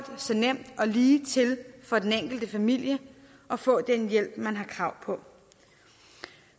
så nemt og ligetil for den enkelte familie at få den hjælp man har krav på